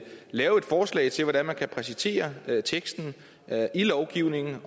lave et forslag til hvordan man kan præcisere teksten i lovgivningen